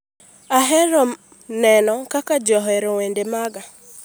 Ahero neno kaka ji ohero wende maga.